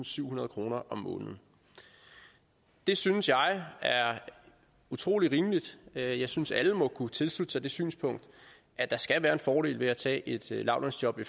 syvhundrede kroner om måneden det synes jeg er utrolig rimeligt jeg jeg synes alle må kunne tilslutte sig det synspunkt at der skal være en fordel ved at tage et lavtlønsjob i